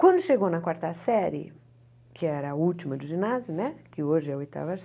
Quando chegou na quarta série, que era a última do ginásio né, que hoje é a oitava